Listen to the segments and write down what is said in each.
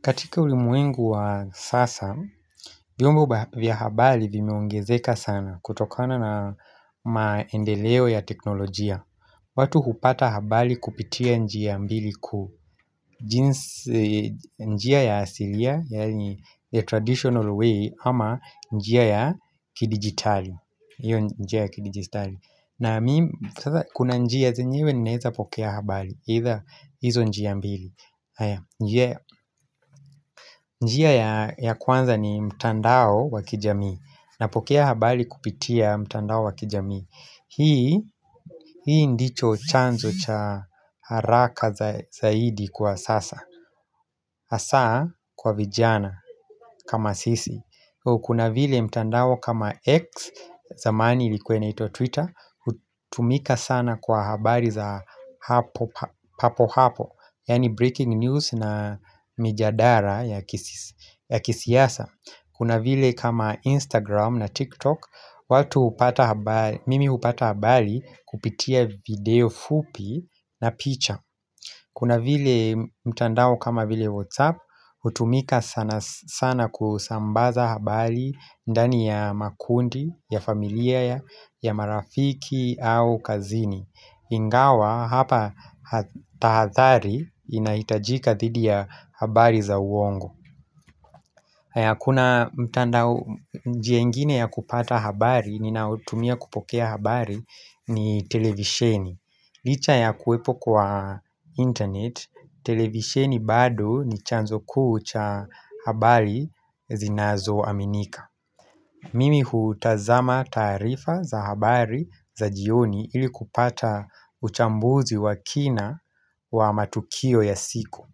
Katika ulimuengu wa sasa, vyombo vya habali vimeongezeka sana kutokana na maendeleo ya teknolojia. Watu hupata habali kupitia njia mbili kuu njia ya asilia, yari the traditional way, ama njia ya kidigitali. Iyo njia ya kidigitali. Na kuna njia zenyewe naeza pokea habali, hizo njia mbili. Njia ya kwanza ni mtandao wa kijami Napokea habari kupitia mtandao wakijami Hii ndicho chanzo cha haraka zaidi kwa sasa Asa kwa vijana kama sisi kuna vile mtandao kama X zamani ilikuwa inaitwa Twitter Utumika sana kwa habari za hapo hapo Yani breaking news na mijadara ya kisiyasa Kuna vile kama Instagram na TikTok Mimi upata habali kupitia video fupi na picha Kuna vile mtandao kama vile WhatsApp Utumika sana kusambaza habali ndani ya makundi, ya familia ya, ya marafiki au kazini Ingawa hapa tahathari inaitajika thidi ya habari za uongo haya kuna mtandao njia ingine ya kupata habari ninautumia kupokea habari ni televisheni Licha ya kuepo kwa internet, televisheni bado ni chanzo kuu cha habari zinazo aminika Mimi hutazama tarifa za habari za jioni ili kupata uchambuzi wa kina wa matukio ya siku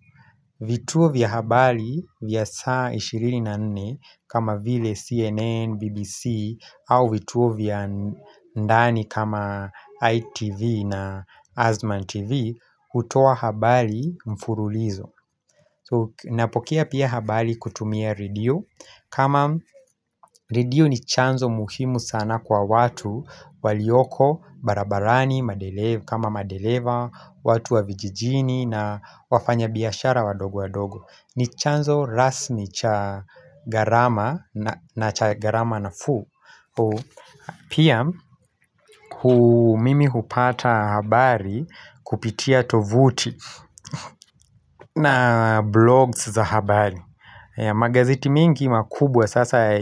vituo vya habari vya saa 24 kama vile CNN, BBC au vituo vya ndani kama ITV na Azman TV utoa habari mfululizo Napokea pia habari kutumia ridio kama redio ni chanzo muhimu sana kwa watu walioko, barabarani, kama madeleva watu wa vijijini na wafanya biyashara wadogo wadogo ni chanzo rasmi cha garama na cha garama nafuu Pia mimi hupata habari kupitia tovuti na blogs za habari Magazeti mengi makubwa sasa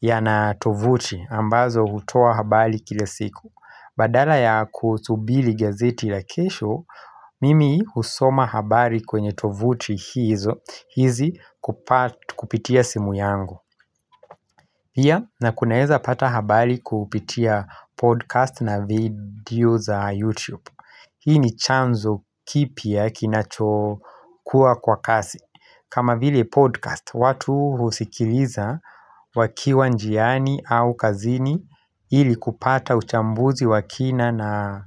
yana tovuti ambazo utoa habari kile siku Badala ya kusubili gazeti la kesho Mimi husoma habari kwenye tovuti hizo hizi kupitia simu yangu pia na kunaeza pata habari kupitia podcast na video za YouTube Hii ni chanzo kipia kinachokuwa kwa kasi kama hile podcast, watu husikiliza wakiwa njiani au kazini Hili kupata uchambuzi wakina na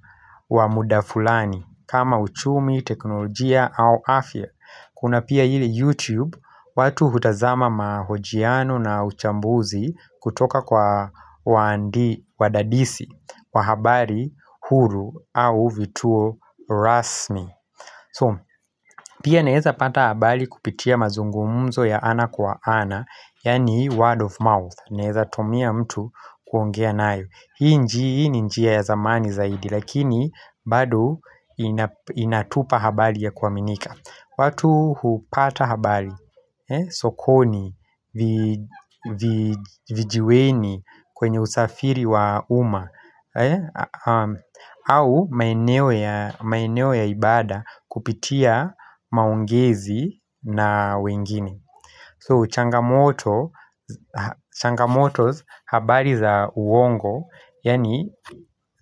wamuda fulani kama uchumi, teknolojia au afya Kuna pia hile YouTube, watu hutazama mahojiano na uchambuzi kutoka kwa wadadisi Wahabari huru au vituo rasmi So, pia naeza pata habari kupitia mazungumzo ya ana kwa ana Yani word of mouth Neeza tumia mtu kuongea nayo Hii njii ni njiya ya zamani zaidi Lakini bado inatupa habari ya kuaminika watu hupata habari sokoni Vijiweni kwenye usafiri wa uma au maeneo ya ibada kupitia maongezi na wengine So changamoto Changamotos habari za uongo Yani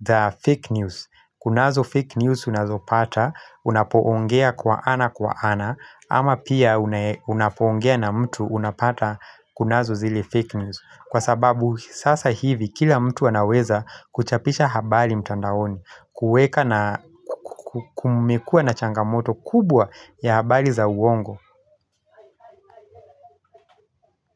the fake news Kunazo fake news unazo pata Unapoongea kwa ana kwa ana Ama pia unapongea na mtu unapata kunazo zile fake news Kwa sababu sasa hivi kila mtu anaweza kuchapisha habari mtandaoni Kumekua na changamoto kubwa ya habari za uongo.